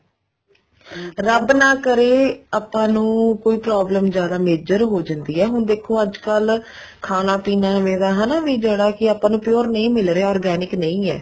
ਰੱਬ ਨਾ ਕਰੇ ਆਪਾਂ ਨੂੰ ਕੋਈ ਜਿਆਦਾ major ਹੋ ਜਾਂਦੀ ਹੈ ਹੁਣ ਦੇਖੋ ਅੱਜਕਲ ਖਾਣਾ ਪੀਣਾ ਏਵੇਂ ਦਾ ਹਨਾ ਵੀ ਜਿਹੜਾ ਕੀ ਆਪਾਂ ਨੂੰ ਪੂਰੇ ਨਹੀਂ ਮਿਲ ਰਿਹਾ organic ਨਹੀਂ ਹੈਂ